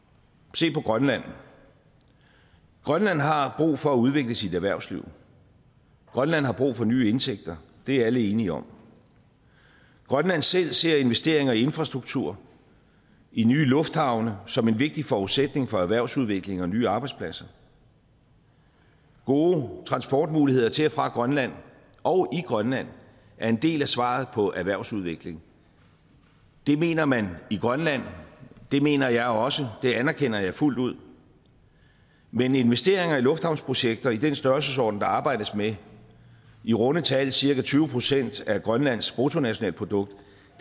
se på grønland grønland har brug for at udvikle sit erhvervsliv grønland har brug for nye indtægter det er alle enige om grønland selv ser investeringer i infrastruktur i nye lufthavne som en vigtig forudsætning for erhvervsudvikling og nye arbejdspladser gode transportmuligheder til og fra grønland og i grønland er en del af svaret på erhvervsudvikling det mener man i grønland det mener jeg også det anerkender jeg fuldt ud men investeringer i lufthavnsprojekter i den størrelsesorden der arbejdes med i runde tal cirka tyve procent af grønlands bruttonationalprodukt